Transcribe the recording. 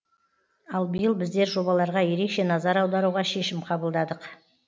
ал биыл біздер жобаларға ерекше назар аударуға шешім қабылдадық